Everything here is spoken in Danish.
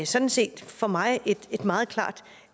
sådan set for mig et meget klart